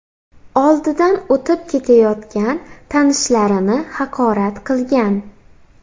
oldidan o‘tib ketayotgan tanishlarini haqorat qilgan.